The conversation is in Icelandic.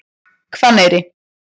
Hvanneyri